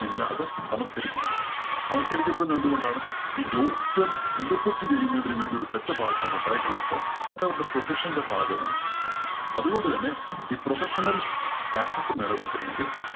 ഇല്ല അത് തമസ്കരിക്കപ്പെടും. തമസ്കരിക്കപ്പെടുന്നത് എന്ത് കൊണ്ടാണ്? ഈ ജോൽത്സ്യം interpret ചെയ്യുന്നതിനു വേണ്ടി ഒരു set of ആൾക്കാർ ഉണ്ടായി കഴിഞ്ഞപ്പോൾ അതവരുടെ profession ന്റെ ഭാഗമാണ്. അത് കൊണ്ട് തന്നെ ഈ professional status നിലനിര്‍ത്തണമെങ്കില്‍